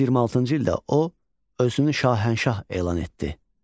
226-cı ildə o, özünü şahənşah elan etdi.